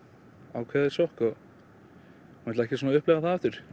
ákveðið sjokk ég vil ekki upplifa það aftur